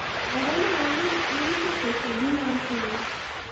oganda mang'ich iuso pesadi mar kenya?